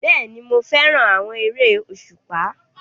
Bẹ́ẹ̀ni, mo fẹ́ràn àwọn eré òṣùpá